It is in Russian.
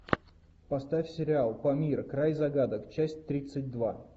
поставь сериал памир край загадок часть тридцать два